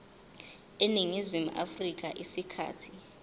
eningizimu afrika isikhathi